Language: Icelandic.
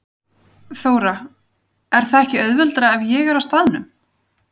Þóra: Er það ekki auðveldara ef ég er á staðnum?